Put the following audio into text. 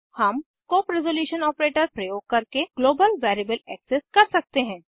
हम scope resolution operator प्रयोग करके ग्लोबल वेरिएबल एक्सेस कर सकते हैं